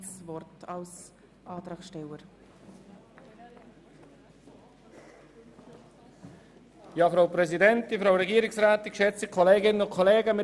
Bezogen auf den Stellenplan 2018 sind in der Zentralverwaltung von 2019–2021 über alle Direktionen die Stellenprozente um 3 % zu reduzieren.